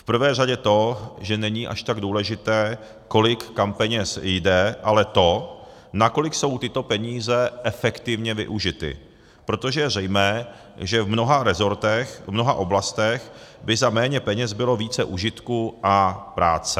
V prvé řadě to, že není až tak důležité, kolik kam peněz jde, ale to, nakolik jsou tyto peníze efektivně využity, protože je zřejmé, že v mnoha resortech, v mnoha oblastech, by za méně peněz bylo více užitku a práce.